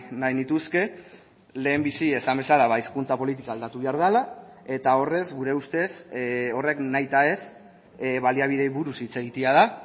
nahi nituzke lehenbizi esan bezala hizkuntza politika aldatu behar dela eta horrez gure ustez horrek nahita ez baliabideei buruz hitz egitea da